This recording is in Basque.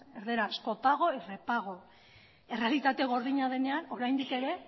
erdaraz copago y repago errealitate gordina denean oraindik ere